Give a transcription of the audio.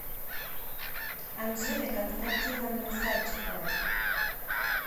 анжеле константиновне садчиковой